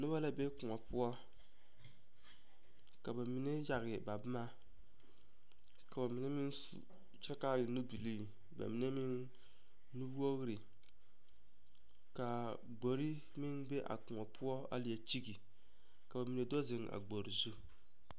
Noba la be koɔ poɔ ka ba mine yage ba boma ka ba mine meŋ su kyɛ ka a e nubilii ba mine meŋ nuwogre ka a gbori meŋ be a koɔ poɔ a leɛ kyige ka ba mine do zeŋ a gbori zu.